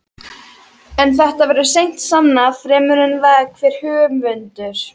En þetta verður seint sannað fremur en það hver höfundur